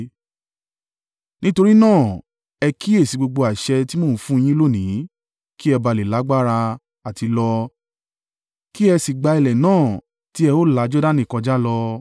Nítorí náà, ẹ kíyèsi gbogbo àṣẹ tí mo ń fún yín lónìí, kí ẹ ba à lè lágbára àti lọ, kí ẹ sì gba ilẹ̀ náà tí ẹ ó la Jordani kọjá lọ.